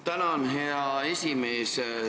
Tänan, hea esimees!